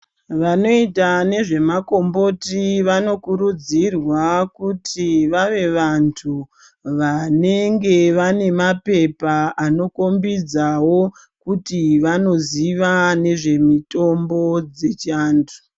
Vanoyita nezvemakomboti, vanokurudzirwa kuti vave vanthu vanenge vanemaphepha anokhombidzawo kuti vanoziva nezvemutombo dzechantu.